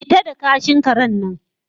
fita da kashin karen nan